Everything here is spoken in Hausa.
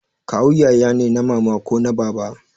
Kawu yaya ne na mama ko na baba